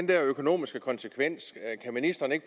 der økonomiske konsekvenser kan ministeren ikke